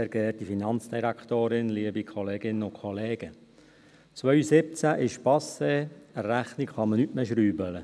2017 ist passé, an der Rechnung kann man nicht mehr schrauben.